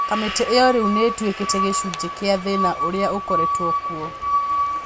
"Kamĩtĩ ĩyo riu nĩ ĩtuĩkĩte gĩcunjĩ kĩa thĩna ũrĩa ũkoretwo kuo